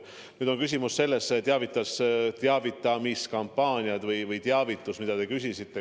Nüüd teavitamiskampaaniad või teavitus, mille kohta te küsisite.